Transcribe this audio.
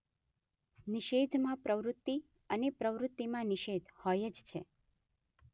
નિષેધમાં પ્રવૃત્તિ અને પ્રવૃત્તિમાં નિષેધ હોય જ છે.